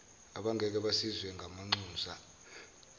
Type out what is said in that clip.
abangeke basizwe ngamanxusa